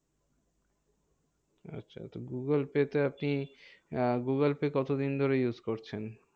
আচ্ছা তো গুগুলপে তে আপনি আহ গুগুলপে কত দিন ধরে use করছেন?